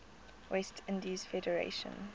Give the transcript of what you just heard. west indies federation